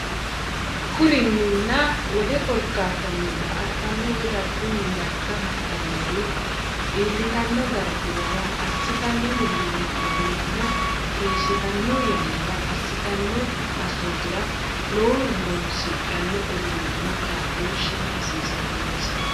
Kurinninna wole korkaattanni daa”ataano woy dargunni garga hadhan- nori iillitanno darguwara assitanno millimmonninna keeshshitan- yannara assitanno assootira lowohu horoonsidhanno uduunninna kaa’looshshi hasiisannonsa.